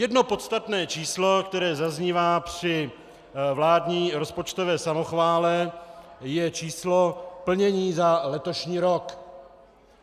Jedno podstatné číslo, které zaznívá při vládní rozpočtové samochvále, je číslo plnění za letošní rok.